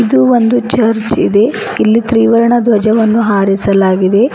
ಇದು ಒಂದು ಚರ್ಚ್ ಇದೆ ಇಲ್ಲಿ ತ್ರಿವರ್ಣ ಧ್ವಜವನ್ನು ಹಾರಿಸಲಾಗಿದೆ.